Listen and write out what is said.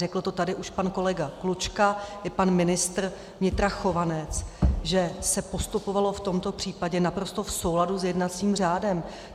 Řekl to tady už pan kolega Klučka i pan ministr vnitra Chovanec, že se postupovalo v tomto případě naprosto v souladu s jednacím řádem.